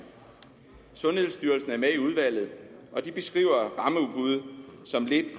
sundhedsstyrelsen er med i udvalget og de beskriver rammeudbud som lidt